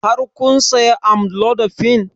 Har kun saya amlodipine?